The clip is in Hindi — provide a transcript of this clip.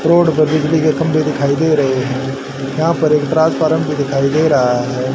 रोड पर बिजली के खम्हे दिखाई दे रहे हैं। यहां पर एक ट्रांसफर दिखाई दे रहा है।